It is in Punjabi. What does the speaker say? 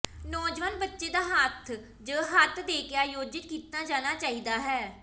ਨੌਜਵਾਨ ਬੱਚੇ ਦਾ ਹੱਥ ਜ ਹੱਥ ਦੇ ਕੇ ਆਯੋਜਿਤ ਕੀਤਾ ਜਾਣਾ ਚਾਹੀਦਾ ਹੈ